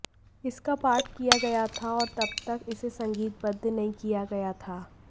इसका पाठ किया गया था और तब तक इसे संगीतबद्ध नहीं किया गया था